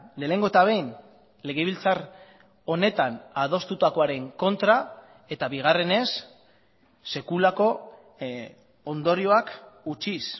lehenengo eta behin legebiltzar honetan adostutakoaren kontra eta bigarrenez sekulako ondorioak utziz